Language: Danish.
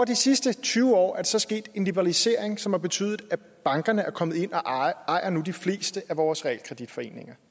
de sidste tyve år er der så sket en liberalisering som har betydet at bankerne er kommet ind og ejer de fleste af vores realkreditforeninger